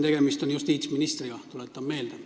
Tegemist on justiitsministriga, tuletan meelde.